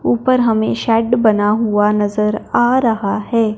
ऊपर हमें शेड बना हुआ नजर आ रहा है।